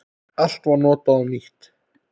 Allt var notað og nýtt.